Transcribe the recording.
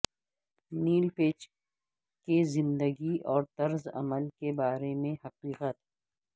نیل پیچ کے زندگی اور طرز عمل کے بارے میں حقیقت